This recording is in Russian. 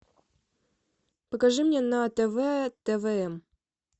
покажи мне на тв твм